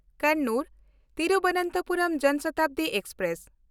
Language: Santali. ᱠᱚᱱᱱᱩᱨ–ᱛᱤᱨᱵᱚᱱᱛᱚᱯᱩᱨᱚᱢ ᱡᱚᱱ ᱥᱚᱛᱟᱵᱫᱤ ᱮᱠᱥᱯᱨᱮᱥ